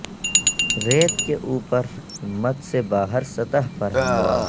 ریت کے اوپر ہمت سے باہر سطح پر ہموار